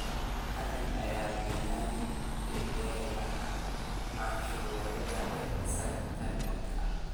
Reagan ayaa beeniyay eedeymaha cunsuriyadda ee isaga ka dhanka ah.